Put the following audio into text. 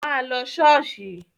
Má lọ ṣọ́ọ̀ṣì!